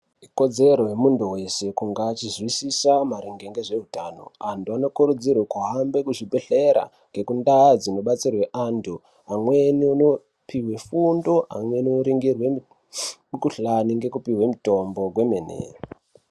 Kodzero yemuntu wese kunga achizwisisa maringe ngezveutano. Antu anokurudzirwa kuhambe kuzvibhehlera ngekundaa dzinobatsirwe antu amweni unopiwe fundo, amweni oringirwe mikuhlani ngekupiwe mitombo kwemene.